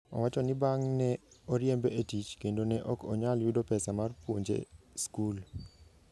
Owacho ni bang'e ne oriembe e tich, kendo ne ok onyal yudo pesa mar puonje skul.